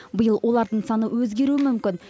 биыл олардың саны өзгеруі мүмкін